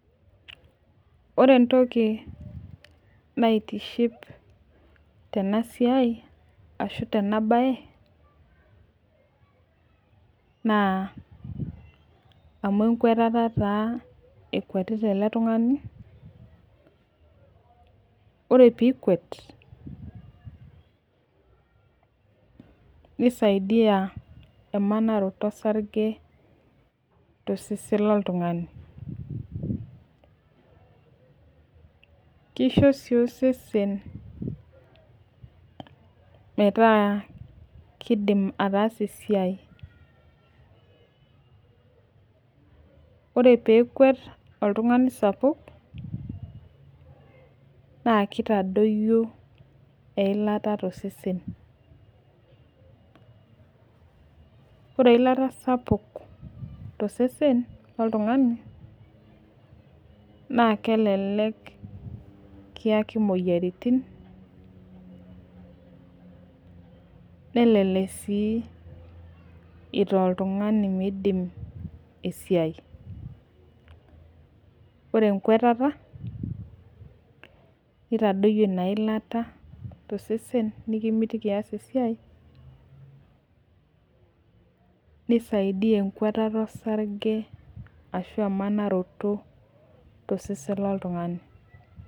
ore entoki naitiship tenasiai ashu tena baye amu ekwetata taa ekwetita ele tung'ani ore pee ikwet nisaidia emanaroto osarge tosesen lo ntungani, kisho sii osesen metaa kidim ataasa esiai ore pee ekwet oltung'ani naa kitadoyio eilata tosesen, amu ore pee iyata eilata sapuk tosesen naa kelelek kiyaki imoyiaritin, nelelek sii itaa oltung'ani metaa kidim ataasa esiai, ore ekwetata nitadoyio elata tosesen nisaidiya emanaroto olsarge tosesen lontung'ani.